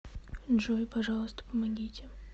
джой пожалуйста помогите